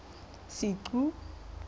senqu